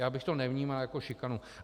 Já bych to nevnímal jako šikanu.